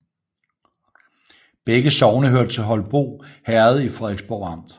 Begge sogne hørte til Holbo Herred i Frederiksborg Amt